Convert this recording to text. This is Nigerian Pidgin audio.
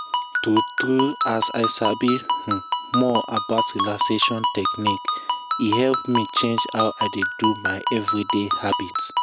true true as i sabi um more about relaxation um technique e help me change how i dey do my everyday habit.